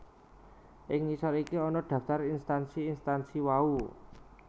Ing ngisor iki ana daftar instansi instansi wau